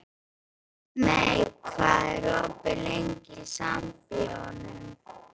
Mey, hvað er opið lengi í Sambíóunum?